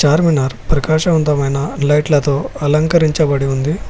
చార్మినార్ ప్రకాశవంతమైన లైట్లతో అలంకరించబడి ఉంది.